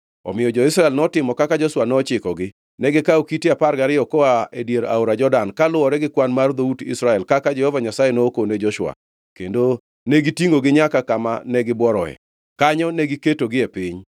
Omiyo jo-Israel notimo kaka Joshua nochikogi. Negikawo kite apar gariyo koa e dier aora Jordan, kaluwore gi kwan mar dhout Israel, kaka Jehova Nyasaye nokone Joshua; kendo negitingʼogi nyaka kama negibuoroe, kanyo negiketogie piny.